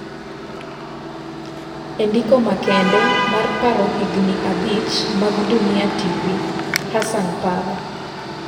E ndiko makende mar paro higni abich mag Dunia TV, Hassan paro